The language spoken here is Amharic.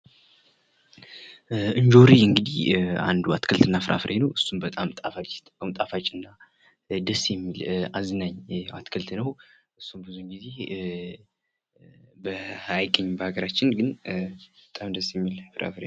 ኢንጆሪ እንግዲህ አንዱ አትክልት እና ፍራፍሬ ነው እሱም በጣም ጣፋጭ እና ደስ የሚል አዝናኝ አትክልት ነው። እሱ እንግዲህ አይገኝም በሃገራችን ግን በጣም ደስ የሚል ፍራፍሬ ነው።